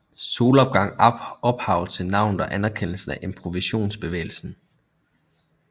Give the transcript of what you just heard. Solopgang ophav til navnet og anerkendelsen af impressionistbevægelsen